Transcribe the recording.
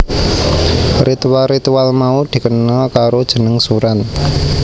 Ritual ritual mau dikenal karo jeneng suran